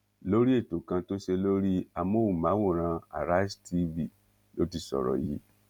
lórí ètò kan tó ṣe lórí amóhùnmáwòrán arise tv ló ti sọrọ yìí